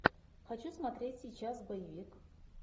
хочу смотреть сейчас боевик